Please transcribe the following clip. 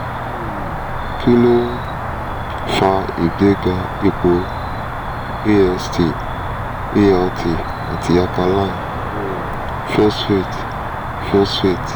um kí ló ń um fa ìgbéga ipò ast alt àti alkaline um phosphate? phosphate?